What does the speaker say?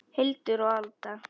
Hildur og Alda.